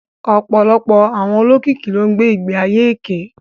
Ọ̀pọ̀lọpọ̀ àwọn olókìkí ló ń gbé ìgbé ayé èké